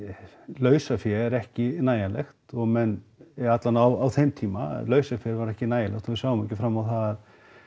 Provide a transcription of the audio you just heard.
lausafé er ekki nægjanlegt og menn eða alla vega á þeim tíma lausafé var ekki nægjanlegt og við sáum ekki fram á það